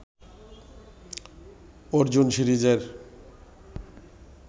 অর্জুন সিরিজের